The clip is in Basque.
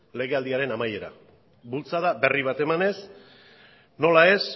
legealdiaren amaiera bultzada berri bat emanez nola ez